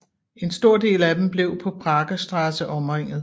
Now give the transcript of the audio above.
En stor del af dem blev på Prager Straße omringet